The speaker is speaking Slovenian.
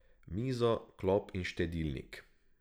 Mizo, klop in štedilnik.